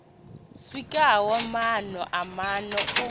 swikaho maana na maana u